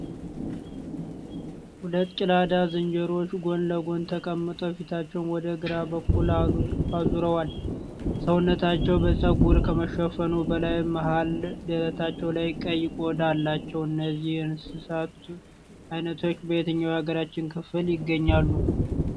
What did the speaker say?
ሁለት ጭላዳ ዝንጀሮዎች ጎን ለጎን ተቀምጠው ፊታቸውን ወደ ግራ በኩል አሩዘዋል። ሰውነታቸው በጸጉር ከመሸፈኑ በላይ መሃል ደረታቸው ላይ ቀይ ቆዳ አላቸው። እነዚህ የእንሣት አይነቶች በየትኛው የሃገራችን ክፍል ይገኛሉ?